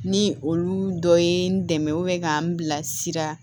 Ni olu dɔ ye n dɛmɛ ka n bila sira